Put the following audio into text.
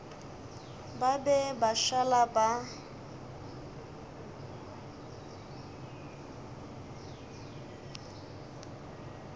ba be ba šala ba